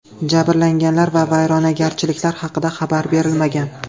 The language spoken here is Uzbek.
Jabrlanganlar va vayronagarchiliklar haqida xabar berilmagan.